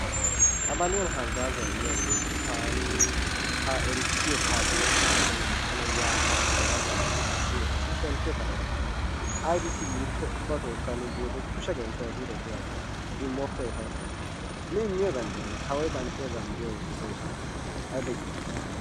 qabaliyan haggaazaa immiyageeti ha erissiyo karddiya ekkana biini tana haa yaa galla galla woxissi woxissi shemppiyo kaa'dosona. Aybissi giikko ubba gallassi nu biyode kushe genttiyoba ehidetii goosona. Immoppo etawu. Nu immiyogan diyonaa, kawoy kanxxiyogan doosonappe attin. ayiba yiiloyissiyoona.